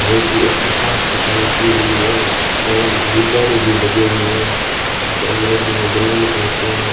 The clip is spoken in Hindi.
बहुत ही अच्छी साफ सफाई की हुई है एवं गुब्बारे भी लगे हुए हैं जिसे अंग्रेजी में बैलून कहते हैं।